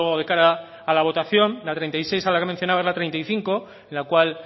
de cara a la votación la treinta y seis a la que mencionaba es la treinta y cinco la cual